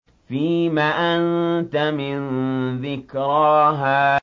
فِيمَ أَنتَ مِن ذِكْرَاهَا